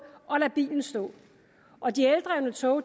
og lade bilen stå og de eldrevne tog